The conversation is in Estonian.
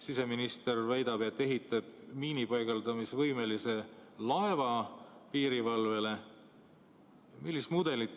Siseminister väidab, et piirivalvele ehitatakse miinipaigaldamisvõimega laev.